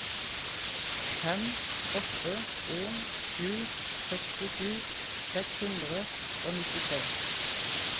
fem åtte en sju sekstisju seks hundre og nittitre